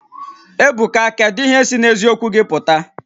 Ebuka kedu ihe si n'eziokwu gị pụta?